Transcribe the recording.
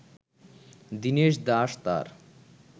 দিনেশ দাস তাঁর